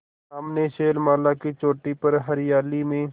सामने शैलमाला की चोटी पर हरियाली में